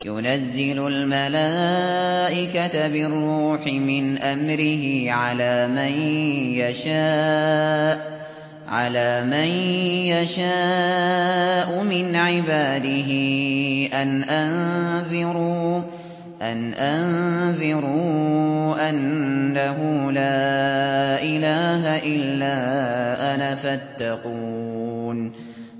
يُنَزِّلُ الْمَلَائِكَةَ بِالرُّوحِ مِنْ أَمْرِهِ عَلَىٰ مَن يَشَاءُ مِنْ عِبَادِهِ أَنْ أَنذِرُوا أَنَّهُ لَا إِلَٰهَ إِلَّا أَنَا فَاتَّقُونِ